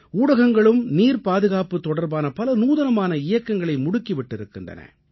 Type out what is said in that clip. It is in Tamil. ஊடகங்களும் நீர் பாதுகாப்பு தொடர்பான பல நூதனமான இயக்கங்களை முடுக்கி விட்டிருக்கின்றன